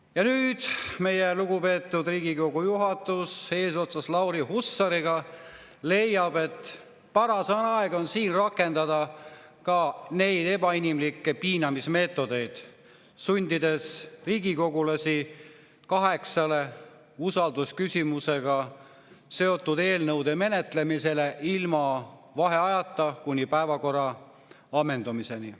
Ja nüüd meie lugupeetud Riigikogu juhatus eesotsas Lauri Hussariga leiab, et paras aeg on ka siin rakendada neid ebainimlikke piinamismeetodeid, sundides riigikogulasi kaheksa usaldusküsimusega seotud eelnõu menetlemisele ilma vaheajata kuni päevakorra ammendumiseni.